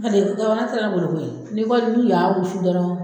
N ma deli awɔ an taara bolo koyi n'i ka du y'a wusu dɔrɔn